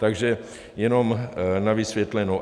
Takže jenom na vysvětlenou.